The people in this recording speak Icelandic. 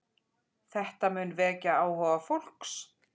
Þetta mun vekja áhuga fólks.